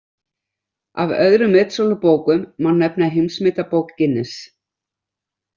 Af öðrum metsölubókum má nefna Heimsmetabók Guinness.